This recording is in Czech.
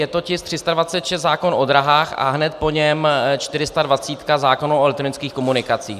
Je to tisk 326, zákon o dráhách, a hned po něm 420, zákon o elektronických komunikacích.